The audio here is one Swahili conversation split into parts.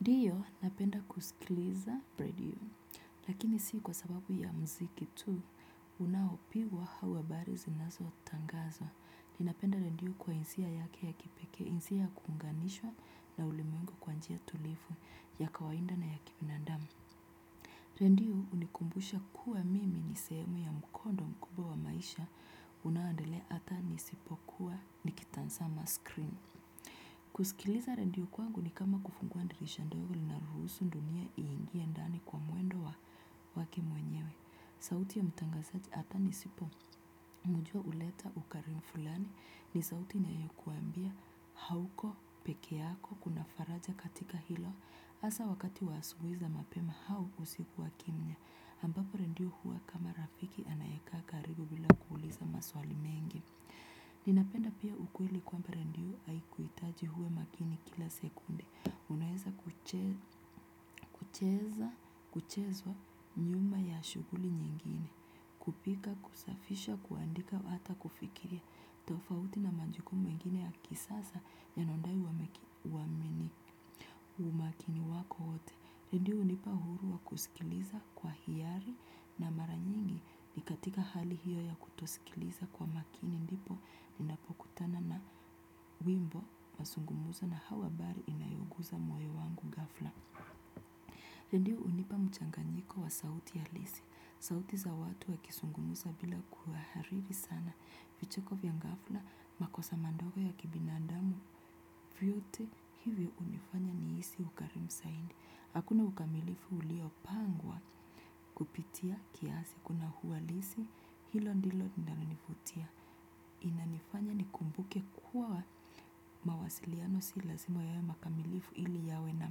Ndiyo napenda kusikiliza prediyo. Lakini si kwa sababu ya muziki tu unaopigwa au habari zinazotangazwa. Ninapenda redio kwa hisia yake ya kipekee, hisia ya kuunganishwa na ulimwengu kwa njia tulivu ya kawaida na ya kibinadamu. Redio hunikumbusha kuwa mimi ni sehemu ya mkondo mkubwa wa maisha unaoendelea hata nisipokuwa nikitazama screen. Kusikiliza redio kwangu ni kama kufungua dirisha ndogo linaloruhusu dunia iingie ndani kwa mwendo wake mwenyewe. Sauti ya mtangazaji hata nisipomjua huleta ukarimu fulani. Ni sauti inayokuambia hauko peke yako, kuna faraja katika hilo hasa wakati wa asubuhi za mapema au usiku wa kimya ambapo redio huwa kama rafiki anayekaa karibu bila kuuliza maswali mengi. Ninapenda pia ukweli kwamba redio haikuhitaji uwe makini kila sekunde. Unaweza kuchezwa nyuma ya shughuli nyingine. Kupika, kusafisha, kuandika, hata kufikiria. Tofauti na majukumu mengine ya kisasa yanayodai umakini wako wote. Redio hunipa uhuru wa kusikiliza kwa hiari na mara nyingi. Ni katika hali hiyo ya kutosikiliza kwa makini ndipo ninapokutana na wimbo, mazungumzo au habari inayoguza moyo wangu ghafla. Ndiyo hunipa mchanganyiko wa sauti halisi. Sauti za watu wakizungumza bila kuhariri sana. Vicheko vya ghafla, makosa madogo ya kibinadamu, vyote hivyo hunifanya nihisi ukarimu zaidi. Hakuna ukamilifu uliopangwa kupitia kiasi, kuna uhalisi, hilo ndilo linalonivutia. Inanifanya nikumbuke kuwa mawasiliano si lazima yawe makamilifu ili yawe na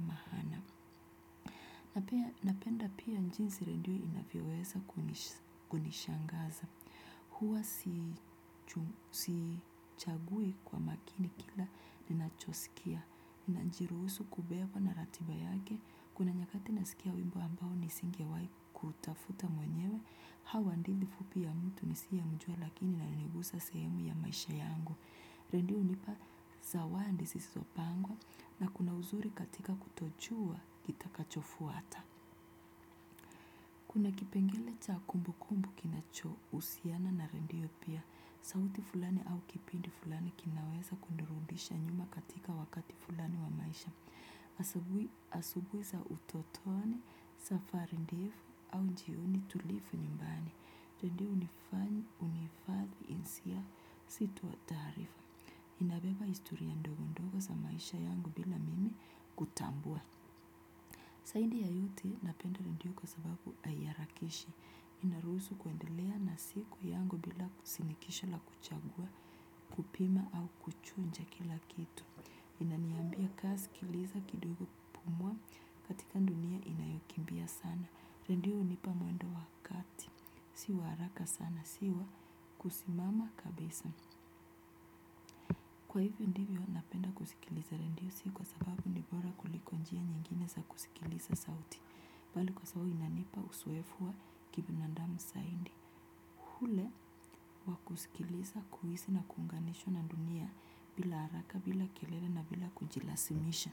maana. Napenda pia jinsi redio inavyoweza kunishangaza. Huwa sichagui kwa makini kila ninachosikia. Najiruhusu kubebwa na ratiba yake kuna nyakati nasikia wimbo ambao nisingewahi kuutafuta mwenyewe au hadithi fupi ya mtu nisiyemjua lakini inanigusa sehemu ya maisha yangu. Redio hunipa zawadi zisizopangwa na kuna uzuri katika kutojua kitakachofuata. Kuna kipengele cha kumbukumbu kinachohusiana na redio pia, sauti fulani au kipindi fulani kinaweza kunirudisha nyuma katika wakati fulani wa maisha. Asubuhi za utotoni, safari ndefu au jioni tulivu nyimbani. Redio hunihifadhi hisia si tu taarifa. Inabeba historia ndogo ndogo za maisha yangu bila mimi kutambua. Zaidi ya yote napenda redio kwa sababu haiharakishi. Inaruhusu kuendelea na siku yangu bila shinikizo la kuchagua kupima au kuchuja kila kitu. Inaniambia kaa sikiliza kidogo pumua katika dunia inayokimbia sana redio hunipa mwendo wa kati si wa haraka sana si wa kusimama kabisa. Kwa hivyo ndivyo napenda kusikiliza redio si kwa sababu ni bora kuliko njia nyingine za kusikiliza sauti bali kwa sababu inanipa uzoefu wa kibinadamu zaidi. Ule wa kusikiliza kuhisi na kuunganishwa na dunia bila haraka bila kelele na bila kujilazimisha.